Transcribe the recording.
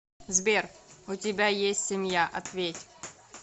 сбер у тебя есть семья ответь